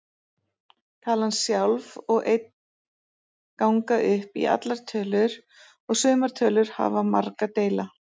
Talan sjálf og einn ganga upp í allar tölur og sumar tölur hafa marga deila.